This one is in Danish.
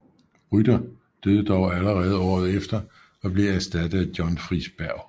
Rytter døde dog allerede året efter og blev erstattet af John Friis Berg